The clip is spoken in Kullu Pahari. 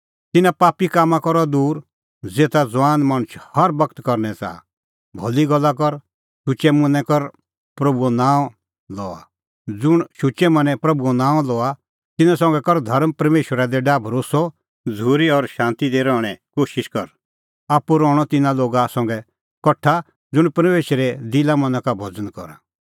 तिन्नां पापी कामां का रह दूर ज़ेता ज़ुआन मणछ हर बगत करनै च़ाहा भली गल्ला कर ज़ुंण शुचै मनैं प्रभूओ नांअ लआ तिन्नां संघै कर धर्म परमेशरा दी डाह भरोस्सअ झ़ूरी और शांती दी रहणें कोशिश कर आप्पू रहणअ तिन्नां लोगा संघै कठा ज़ुंण परमेशरे दिलामना का करा महिमां करा